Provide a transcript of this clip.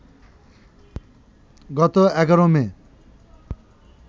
গত ১১ মে